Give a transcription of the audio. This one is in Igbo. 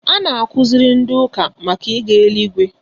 A na-akuziri ndị ụka màkà ịga eluigwe